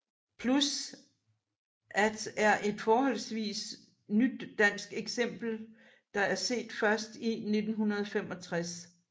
Plus at er et forholdsvist nyt dansk eksempel der er set først i 1965